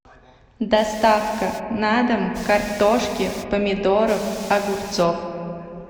доставка на дом картошки помидоров огурцов